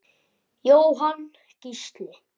Jóhann Gísli.